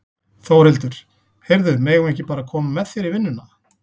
Þórhildur: Heyrðu, megum við ekki bara koma með þér í vinnuna?